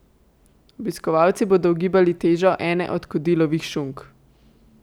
Obiskovalci bodo ugibali težo ene od Kodilovih šunk.